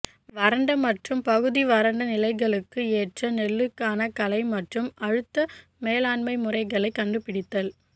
வறண்ட மற்றும் பகுதி வறண்ட நிலைகளுக்கு ஏற்ற நெல்லுக்கான களை மற்றும் அழுத்த மேலாண்மை முறைகளை கண்டுபிடித்தல்